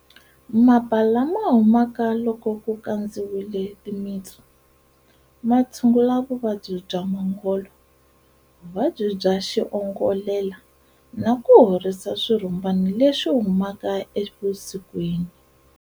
Mapa lama humaka loko ku kandziwile timitsu, ma tshungula vuvabyi bya mongolo, vuvabyi bya xiongolela na ku horisa swirhumbana leswi humaka evusikwini.